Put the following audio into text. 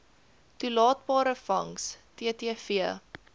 toelaatbare vangs ttv